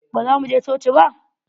Baza mu je coci ba?